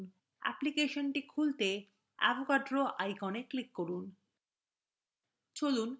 অ্যাপ্লিকেশনটি খুলতে avogadro icon click করুন